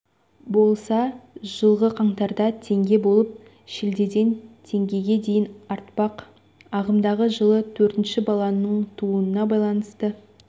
болса жылғы қаңтарда теңге болып шілдеде теңгеге дейін артпақ ағымдағы жылы төртінші баланың тууына байланысты